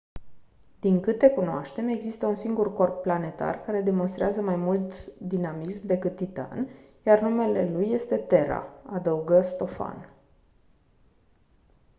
din câte cunoaștem există un singur corp planetar care demonstrează mai mult dinamism decât titan iar numele lui este terra adăugă stofan